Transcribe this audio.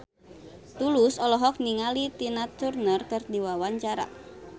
Tulus olohok ningali Tina Turner keur diwawancara